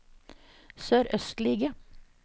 sørøstlige